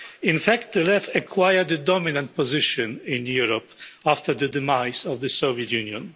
In fact, the Left acquired a dominant position in Europe after the demise of the Soviet Union.